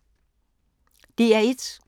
DR1